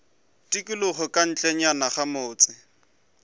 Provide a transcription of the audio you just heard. tikologo ka ntlenyana ga motse